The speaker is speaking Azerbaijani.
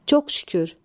Çox şükür.